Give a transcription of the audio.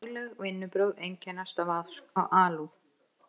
Fagleg vinnubrögð einkennast af alúð.